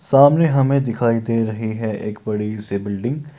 सामने हमें दिखाई दे रही है एक बड़ी सी बिल्डिग --